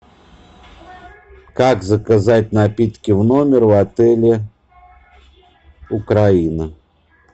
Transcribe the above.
как заказать напитки в номер в отеле украина